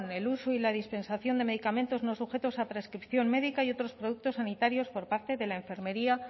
el uso y la dispensación de medicamentos no sujetos a prescripción médica y otros productos sanitarios por parte de la enfermería